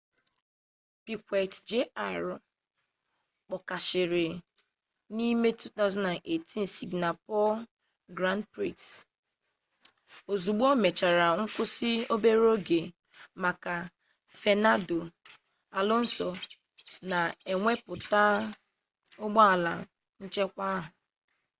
piquet jr kpọkashịrị n'ime 2008 singapore grand prix ozugbo o mechara nkwụsị obere oge maka fernando alonso na-ewepụta ụgbọala nchekwa ahụ